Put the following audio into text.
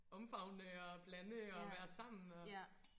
omfavne og blande og være sammen og